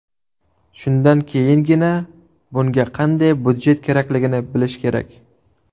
Shundan keyingina bunga qanday budjet kerakligini bilish kerak.